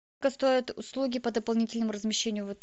сколько стоят услуги по дополнительному размещению в отеле